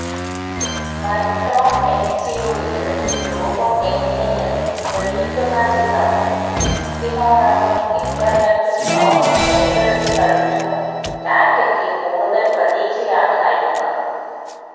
micro എസ്യുവിയുടെ രൂപം എങ്ങിനെയെന്ന് തെളിയിക്കുന്ന ചിത്രങ്ങൾ ഇതിനോടകം ഇന്റർനെറ്റ് ലോകം ഏറ്റെടുത്തു കഴിഞ്ഞുവെന്നതും ടാറ്റയ്ക്ക് കൂടുതൽ പ്രതീക്ഷയാണ് നൽകുന്നത്